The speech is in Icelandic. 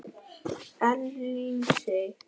Elín Sig.